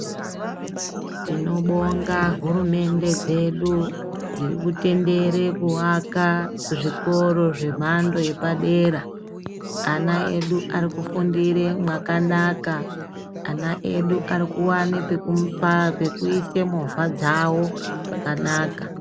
Tinobonga hurumende dzedu dzirikutendere kuaka zvikoro zvemhando yepadera. Ana edu arikufundire mwakanaka, ana edu arikuwane pekuise movha dzavo pakanaka.